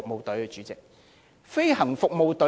對的，主席，是政府飛行服務隊。